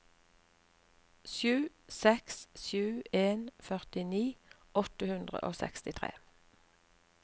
sju seks sju en førtini åtte hundre og sekstitre